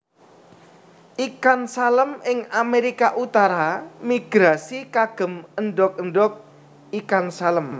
Ikan Salem ing Amerika utara migrasi kagem endog endog ikan salem